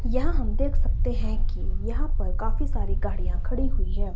यहां हम देख सकते हैं कि यहां पर काफी सारी गाड़ियां खड़ी हुई हैं।